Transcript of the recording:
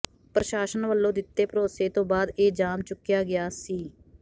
ਪ੍ਰਸ਼ਾਸਨ ਵਲੋਂ ਦਿੱਤੇ ਭਰੋਸੇ ਤੋਂ ਬਾਅਦ ਇਹ ਜਾਮ ਚੁੱਕਿਆ ਗਿਆ ਸੀ